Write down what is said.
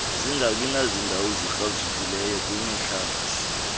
singabinazindawo ezikrazukileyo kwimihlathi